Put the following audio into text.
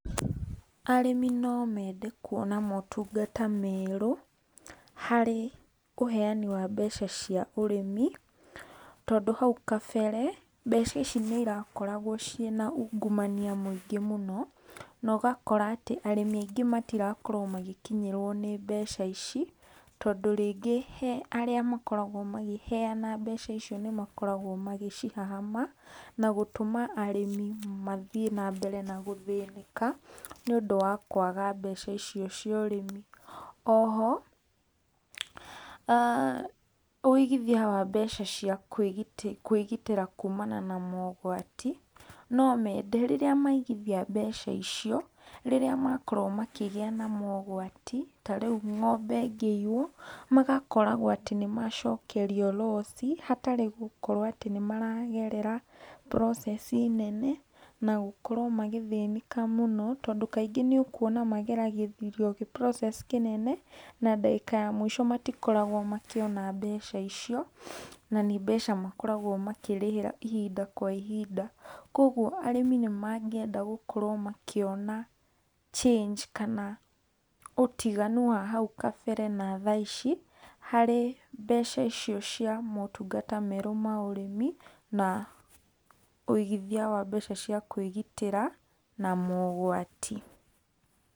Arĩmi no mende kũona matũngata merũ harĩ uheani wa mbeca cia ũrĩmi tondũ haũ kabere mbeca ici nĩ irakoragwo cina ũngũmanĩa mũĩngĩ mũno, na ũgakora atĩ arĩmi aĩngĩ matirakorwo magĩkĩnyĩrwo nĩ mbeca ici tondũ rĩngĩ he arĩa makoragwo makĩheana mbeca icio nĩ makoragwo magĩcihahama, na gũtũma arĩmi mathĩe na mbere gũthĩnĩka nĩ ũndũ wa kũaga mbeca icio cia ũrĩmi. Oho aah ũigithia wa mbeca cia kwĩgĩtĩra kũmana na maũgwatĩ no mende rĩrĩa maigithia mbeca icio riria makoro makĩgĩa na maũgwati ta, rĩũ ngombe ĩngĩiywo magakoragwo atĩ nĩmacokerĩo loss hatarĩ gũkorwo nĩ maragerera process nene na gũkorwo magĩthĩnĩka mũno tondũ kaĩngĩ nĩ ũkũona mageragĩrĩo process[cs[ kĩnene na dakĩka ya mwĩsho matikoragwo makĩona mbeca icio. na nĩ mbeca makoragwo makĩrĩhĩra ihinda kwa ihinda, kwogwo arĩmi nĩmangĩenda gũkorwo makĩona change kana ũtiganu wa hau kabere na tha ici harĩ mbeca icio cia matũngata merũ ma ũrĩmi na ũigithia wa mbeca cia kwĩgitĩra na maũgwatĩ